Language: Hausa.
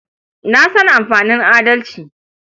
Na san amfanin adalci.